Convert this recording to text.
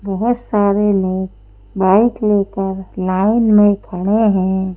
बहुत सारे लोग बाइक लेकर लाइन में खड़े हैं।